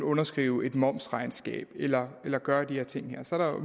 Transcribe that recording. underskrive et momsregnskab eller gøre de her ting så